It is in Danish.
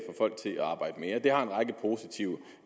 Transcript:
folk til at arbejde mere det har en række positive